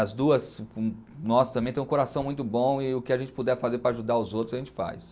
As duas, nós também temos um coração muito bom e o que a gente puder fazer para ajudar os outros, a gente faz.